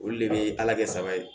Olu de bɛ ala kɛ saba ye